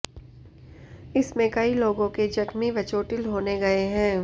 इसमें कई लोगो के जख्मी व चोटिल होने गये हैं